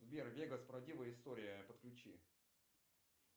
сбер вегас правдивая история подключи